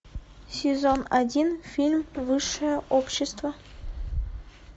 сезон один фильм высшее общество